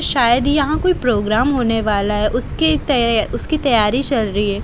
शायद यहां कोई प्रोग्राम होने वाला है उसकी तै उसकी तैयारी चल रही है।